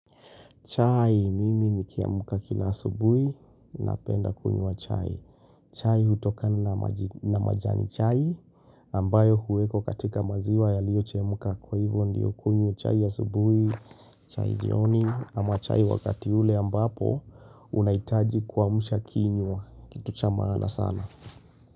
Chai, mimi nikiamka kila asubuhi napenda kunywa chai. Chai hutokani na majani chai, ambayo huwekwa katika maziwa yalio chemuka. Kwa hivyo ndiyo kunywa chai ya asubuhi, chai jioni, ama chai wakati ule ambapo, unaitaji kuamusha kinywa. Kitu cha maana sana.